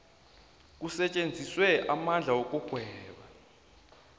kusetjenziswe amandla wokugweba